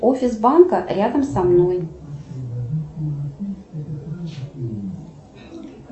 офис банка рядом со мной